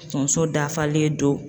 Tonso dafalen don.